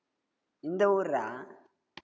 இந்த ஊருடா.